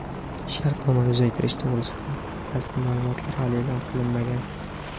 Shartnomani uzaytirish to‘g‘risida rasmiy ma’lumotlar hali e’lon qilinmagan.